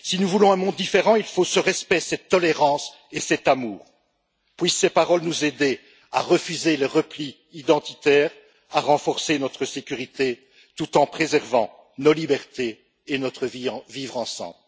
Si nous voulons un monde différent, il faut ce respect, cette tolérance et cet amour. Puissent ces paroles nous aider à refuser le repli identitaire, à renforcer notre sécurité, tout en préservant nos libertés et notre vivre ensemble.